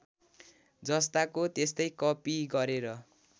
जस्ताको त्यस्तै कपि गरेर